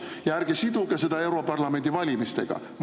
Ja ärge siduge seda europarlamendi valimistega!